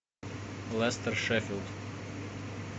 лестер шеффилд